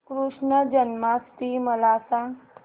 कृष्ण जन्माष्टमी मला सांग